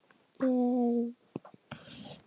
Berið fram volgt.